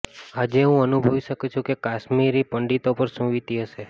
આજે હું અનુભવી શકુ છુ કે કાશ્મીરી પંડિતો પર શું વિતી હશે